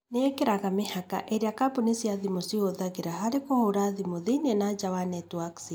Nĩ ĩĩkĩraga mĩhaka ĩrĩa kambũni cia thimũ ciĩhũthagĩra harĩ kũhũra thimũ thĩinĩ na nja wa netiwaki ciao.